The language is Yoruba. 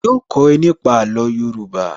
Yóò kó ẹ nípa àlò Yorùbá